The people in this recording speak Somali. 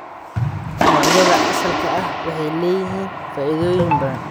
Noocyada asalka ah waxay leeyihiin faa'iidooyin badan.